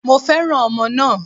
Mo fẹ́ràn ọmọ náà